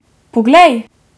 Poglej!